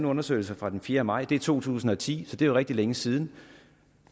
undersøgelse fra den fjerde maj to tusind og ti det er rigtig længe siden